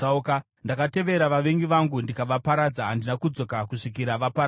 “Ndakatevera vavengi vangu ndikavaparadza; handina kudzoka kusvikira vaparadzwa.